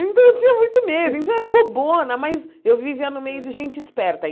Então eu tinha muito medo, então era bobona, mas eu vivia no meio de gente esperta.